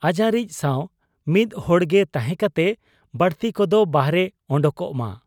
ᱟᱡᱟᱨᱤᱡ ᱥᱟᱶ ᱢᱤᱫ ᱦᱚᱲᱜᱮ ᱛᱟᱦᱮᱸ ᱠᱟᱛᱮ ᱵᱟᱹᱲᱛᱤ ᱠᱚᱫᱚ ᱵᱟᱦᱨᱮ ᱚᱰᱚᱠᱚᱜ ᱢᱟ ᱾